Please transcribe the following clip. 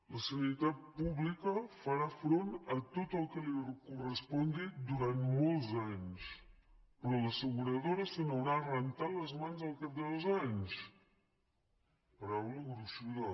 la sanitat pública farà front a tot el que li correspongui durant molts anys però l’asseguradora se n’haurà rentat les mans al cap de dos anys paraula gruixuda